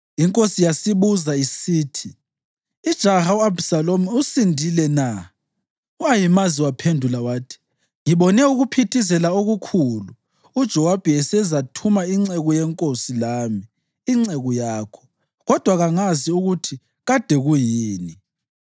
Inkosi yasibuza isithi, “Ijaha u-Abhisalomu usindile na?” U-Ahimazi waphendula wathi, “Ngibone ukuphithizela okukhulu uJowabi esezathuma inceku yenkosi lami, inceku yakho, kodwa kangazi ukuthi kade kuyini.”